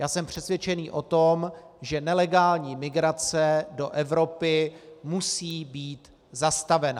Já jsem přesvědčen o tom, že nelegální migrace do Evropy musí být zastavena.